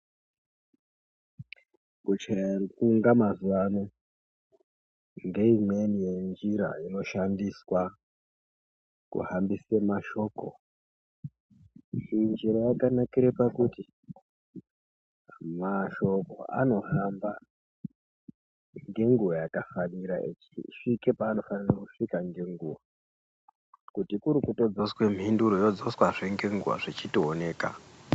Kuchaye rukunga mazuwano ngéimweniwo ñjira iñoshandiswa kuhambise mashoko Imwe njíra yakanakire pakuti màshokó anohamba ngenguwa yakafanira echisvike paanofanire kusvika ngenguwa kuti kuri kutodzoswe mhinduro yotodzoswazve ngenguwa zvichitooneka.